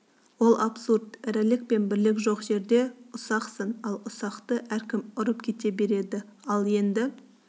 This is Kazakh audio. ол абсурд ірілік пен бірлік жоқ жерде ұсақсың ал ұсақты әркім ұрып кете береді ал енді